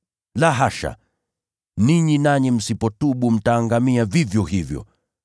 La hasha! Ninyi nanyi msipotubu, mtaangamia vivyo hivyo.